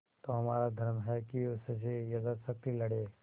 तो हमारा धर्म है कि उससे यथाशक्ति लड़ें